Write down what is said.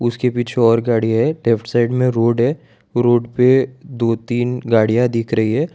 उसके पीछे और गाड़ी है लेफ्ट साइट में रोड है रोड पे दो तीन गाड़ियां दिख रही है।